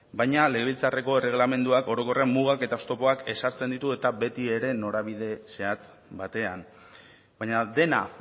baina legebiltzarreko erregelamenduak orokorrean mugak eta oztopoak ezartzen ditu eta beti ere norabide zehatz batean baina dena